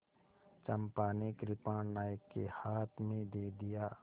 चंपा ने कृपाण नायक के हाथ में दे दिया